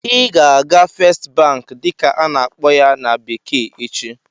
Ị ga-aga "First Bank" dịka a na-akpọ ya na bekee echi!